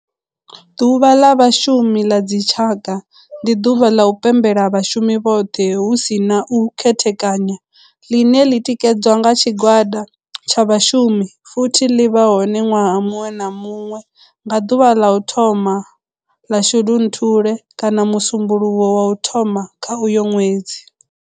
Ḓuvha ḽa vhashumi la dzi tshaka, ndi duvha ḽa u pembela vhashumi vhothe hu si na u khethekanya ḽine ḽi tikedzwa nga tshigwada tsha vhashumi futhi ḽi vha hone nwaha muṅwe na muṅwe nga duvha ḽa u thoma 1 ḽa Shundunthule kana musumbulowo wa u thoma kha uyo nwedzi.